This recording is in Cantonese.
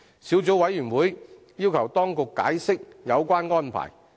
小組委員會要求當局解釋有關安排。